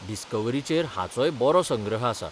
डिस्कव्हरीचेर हाचोय बरो संग्रह आसा.